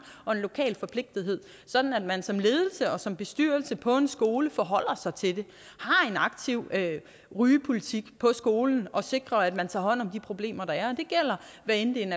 og en lokal forpligtelse sådan at man som ledelse og som bestyrelse på en skole forholder sig til det har en aktiv rygepolitik på skolen og sikrer at man tager hånd om de problemer der er det gælder hvad enten